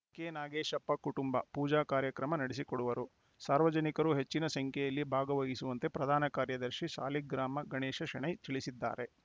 ಕೆನಾಗೇಶಪ್ಪ ಕುಟುಂಬ ಪೂಜಾ ಕಾರ್ಯಕ್ರಮ ನಡೆಸಿಕೊಡುವರು ಸಾರ್ವಜನಿಕರು ಹೆಚ್ಚಿನ ಸಂಖ್ಯೆಯಲ್ಲಿ ಭಾಗವಹಿಸುವಂತೆ ಪ್ರಧಾನ ಕಾರ್ಯದರ್ಶಿ ಸಾಲಿಗ್ರಾಮ ಗಣೇಶ ಶೆಣೈ ತಿಳಿಸಿದ್ದಾರೆ